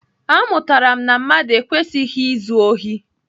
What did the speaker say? Amụtara m na mmadụ ekwesịghị izu ohi.